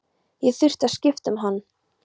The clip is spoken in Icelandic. Ég þurfti að skipta um hann.